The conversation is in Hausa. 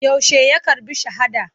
Yaushe ya karɓi shahada.